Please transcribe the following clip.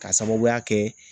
K'a sababuya kɛ